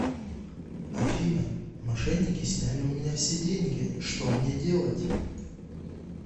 афина мошенники сняли у меня все деньги что мне делать